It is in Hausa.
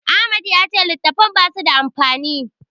Ahmad ya ce littattafan basu da amfani.